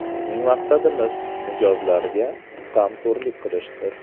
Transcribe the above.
Bizning maqsadimiz mijozlarga g‘amxo‘rlik qilishdir.